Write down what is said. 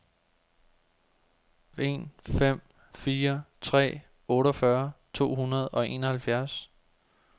en fem fire tre otteogfyrre to hundrede og enoghalvfjerds